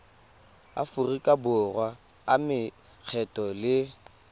aforika borwa a makgetho le